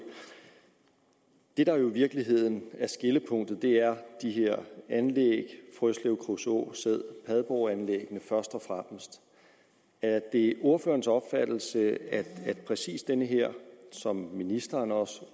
det der i virkeligheden er skillepunktet er de her anlæg frøslev kruså sæd padborganlæggene er det ordførerens opfattelse at præcis den her som ministeren også